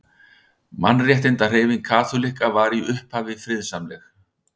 Mannréttindahreyfing kaþólikka var í upphafi friðsamleg.